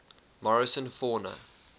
morrison fauna